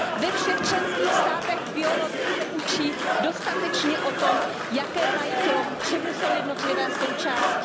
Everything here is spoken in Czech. Ve všech členských státech v biologii se učí dostatečně o tom, jaké mají tělo, k čemu jsou jednotlivé součásti.